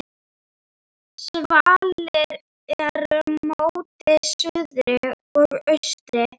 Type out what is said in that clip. Svalir eru móti suðri og austri.